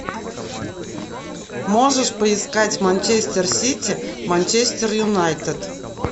можешь поискать манчестер сити манчестер юнайтед